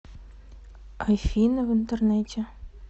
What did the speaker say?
афина в интернете